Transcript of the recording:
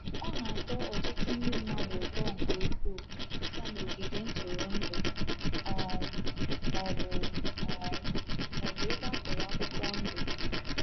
Ọ na-atọ ọtụtụ ndị mmadụ ụtọ nke ukwuu ịga n’ogige ntụrụndụ um .maọbụ um .maọbụ ebe a kụrụ akwụkwọ ndụ